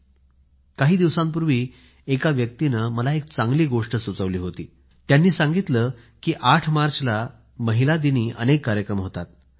गेल्या काही दिवसापूर्वी एका व्यक्तीने मला एक चांगली गोष्ट सुचवली होती त्यांनी सांगितले की 8 मार्चला महिला दिनी अनेक कार्यक्रम होतात